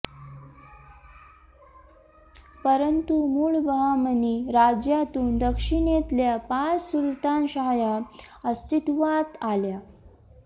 परंतु मूळ बहामनी राज्यातून दक्षिणेतल्या पाच सुलतान शाह्या अस्तित्वात आल्या